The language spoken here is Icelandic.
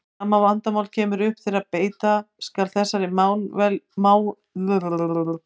Sama vandamál kemur upp þegar beita skal þessari málvenju til dæmis á Austurlandi hjá okkur.